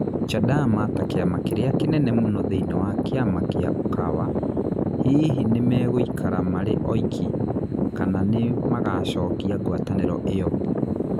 Chadama ta kĩama kĩria kĩnene muno thĩinĩ wa kĩama kĩa Ukawa, hihi nĩ megũikara marĩ oiki, kana nĩ magaacokia ngwatanĩro ĩyo?